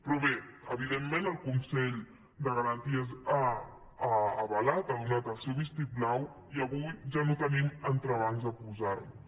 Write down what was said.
però bé evidentment el consell de garanties ho ha avalat hi ha donat el seu vistiplau i avui ja no tenim entrebancs a posar nos